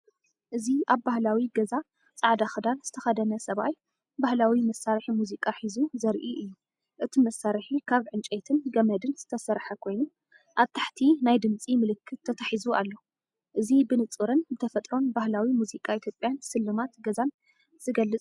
እዚ ኣብ ባህላዊ ገዛ ጻዕዳ ክዳን ዝተኸድነ ሰብኣይ፡ ባህላዊ መሳርሒ ሙዚቃ ሒዙ ዘርኢ እዩ። እቲ መሳርሒ ካብ ዕንጨይትን ገመድን ዝተሰርሐ ኮይኑ፡ኣብ ታሕቲ ናይ ድምጺ ምልክት ተተሓሒዙ ኣሎ። እዚ ብንጹርን ብተፈጥሮን ባህላዊ ሙዚቃ ኢትዮጵያን ስልማት ገዛን ዝገልጽ እዩ።